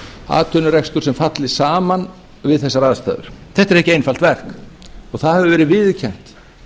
atvinnurekstur sem falli saman við þessar aðstæður þetta er ekki einfalt verk og það hefur verið viðurkennt